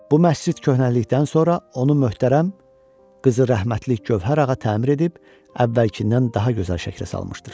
Bu məscid köhnəlikdən sonra onu möhtərəm Qızı Rəhmətlik Gövhər ağa təmir edib, əvvəlkindən daha gözəl şəkilə salmışdır.